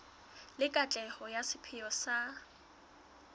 le katleho ya sepheo sa